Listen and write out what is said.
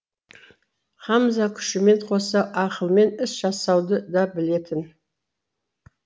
хамза күшімен қоса ақылмен іс жасауды да білетін